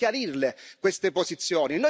Dobbiamo chiarirle queste posizioni.